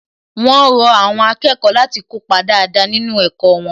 Wón rọ àwọn akẹ́kọ̀ọ́ láti kópa dáadáa nínú ẹ̀kọ́ wọn